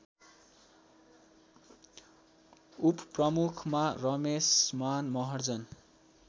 उपप्रमुखमा Rameshman Maharjan